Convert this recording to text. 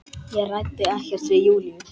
Ég ræddi ekkert við Júlíu.